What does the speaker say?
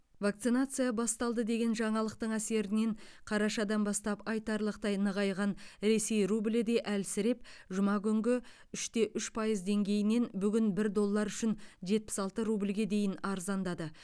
вакцинация басталды деген жаңалықтың әсерінен қарашадан бастап айтарлықтай нығайған ресей рублі де әлсіреп жұма күнгі үш те үш пайыз деңгейінен бүгін бір доллар үшін жетпіс алты рубльге дейін арзандады